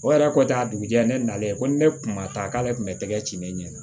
O yɛrɛ ko tɛ a dugujɛ ne nalen ko ni ne kun ma taa k'ale tun bɛ tɛgɛ ci ne ɲɛna